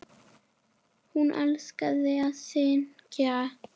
Hún elskaði að syngja.